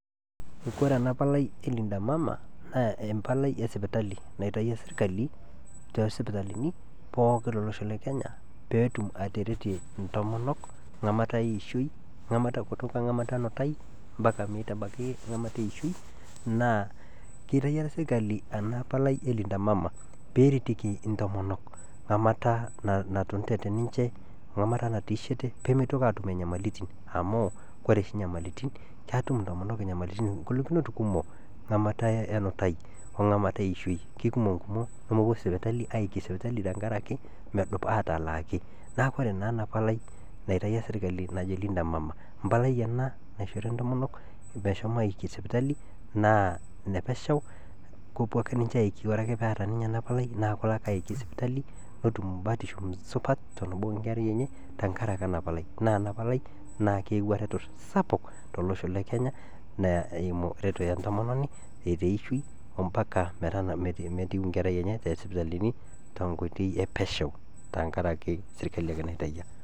Kore ana palai e linda mama naa empalai esipitali naitaiya eserikali too sipitalini pooki to losho le kenya peetum ateretie intomonok ng'amata eishoi ng'amata kutuka ng'amata enutaii mpaka meitabaki ng'amata eishoi naa keiteyia eserikali ana palai e linda mama peeretieki intomonok ng'amata natunutete ninche, ng'amata natiishete pemeitoki aatum inyamalitin amuu ore oshi inyamalitin ketum intomonok ingolikinot kumok ng'amata enutai ong'amata eishoi kekumok nkumoo nemepo aiiki sipitalini tengaraki medupa atalaaaki naaku kore naa ena palai naiteyia sirikali najo linda mama impalai ena naishori intomonok meshomo aiiki sipitali na enepesheu kepo ake ninche aiki ore ake peeta ninye ana palai naaku kelo ake aiiki sipitali netum batisho supat tenebo oo inkerai enye tengaraki ena palai naa ore ena palai keewua ereto sapuk te losho le kenya eimu ereto e ntomononi te ishoi ompaka metiu inkerai enye tee sipitalini te nkoitei epesheu tengaraki serikali ake naitaiya.